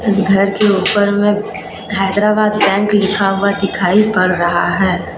इस घर के ऊपर में हैदराबाद बैंक लिखा हुआ दिखाई पढ़ रहा है.